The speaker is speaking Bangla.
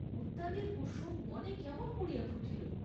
উদ্যানের কুসুম বনে কেমন করিয়া ফুটিল?